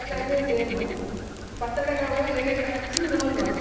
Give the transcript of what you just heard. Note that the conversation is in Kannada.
ಮಸಾಲೆ ಅದೇ same ಪತ್ರೊಡೆ ಗಾದ್ರೆ ಎಲೆಗೆ ಹಚ್ಚಿ roll ಮಾಡ್ತಿವಿ